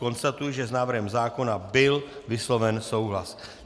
Konstatuji, že s návrhem zákona byl vysloven souhlas.